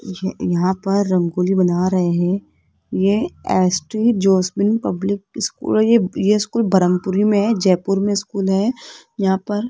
ये यहां पर रंगोली बना रहे हैं ये एस्ट्री जैस्मिन पब्लिक स्कूल है ये ये स्कूल ब्रह्मपुरी में है जयपुर में स्कूल है यहां पर --